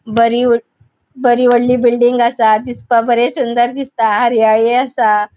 बरी बरी वोडली बिल्डिंग असा. दिसपाक बरे सुंदर दिसता हरयाळी असा.